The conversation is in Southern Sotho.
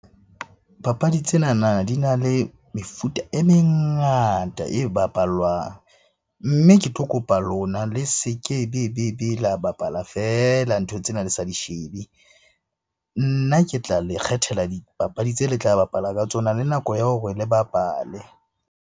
Papadi tsenana di na le mefuta e mengata e bapalwang. Mme ke tlo kopa lona le se kebebebe la bapala feela ntho tsena le sa di shebe. Nna ke tla le kgethela dipapadi tse le tla bapala ka tsona le nako ya hore le bapale.